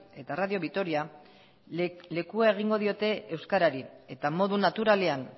eta radio vitoria lekua egingo diote euskarari eta modu naturalean